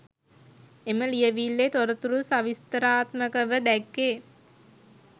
එම ලියවිල්ලේ තොරතුරු සවිස්තරාත්මකව දැක්වේ.